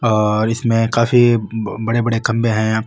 और इसमें काफी बड़े बड़े खम्भे है यहां।